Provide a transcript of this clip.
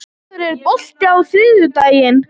Sófus, er bolti á þriðjudaginn?